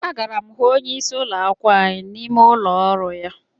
Agara m hụ onyeisi ụlọ akwụkwọ anyị n'ime ụlọ ọrụ ya